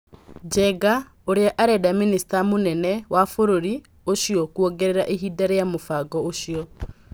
Njenga, ũrĩa arenda mĩnĩsta mũnene wa bũrũri ũcio kũongerera ihinda rĩa mũbango ũcio.